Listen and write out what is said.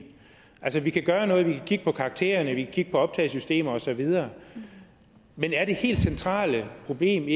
altså vi kan gøre noget vi kan kigge på karaktererne vi kan kigge på optagelsessystemer og så videre men er det helt centrale problem